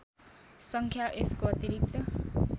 सङ्ख्या यसको अतिरिक्त